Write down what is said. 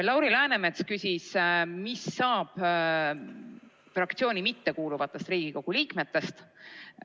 Lauri Läänemets küsis, mis saab fraktsiooni mittekuuluvatest Riigikogu liikmetest.